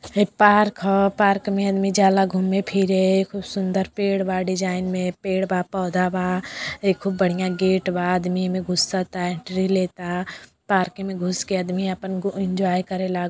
हई पार्क ह पार्क में आदमी जाला घूम्मे- फिरे। खूब सुदंर पेड़ बा डिजाईन में पेड़ बा पौधा बा। ए खूब बढ़ियां गेट बा आदमी एमें घुस्सता एन्ट्री लेता। पार्क में घुसके आदमी आपन गो एन्जॉय करेला।